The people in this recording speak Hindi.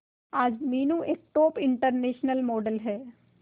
आज मीनू एक टॉप इंटरनेशनल मॉडल है